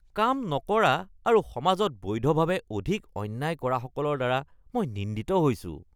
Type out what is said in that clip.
কাম নকৰা আৰু সমাজত বৈধভাৱে অধিক অন্যায় কৰাসকলৰ দ্বাৰা মই নিন্দিত হৈছোঁ।